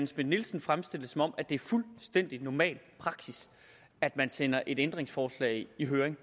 schmidt nielsen fremstille det som om det er fuldstændig normal praksis at man sender et ændringsforslag i høring